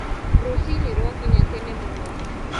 Rũcinĩ rwakinya tene mũno